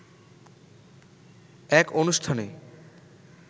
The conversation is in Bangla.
এক অনুষ্ঠানে